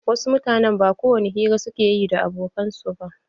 Wasu mutanen ba kowani hira suke ma abokai ba.